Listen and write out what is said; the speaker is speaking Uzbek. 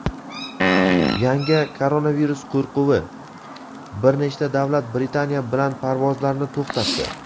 Yangi koronavirus qo‘rquvi: bir nechta davlat Britaniya bilan parvozlarni to‘xtatdi.